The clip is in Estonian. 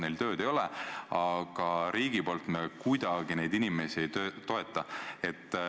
Neil tööd ei ole, aga riigi poolt me neid inimesi kuidagi ei toeta.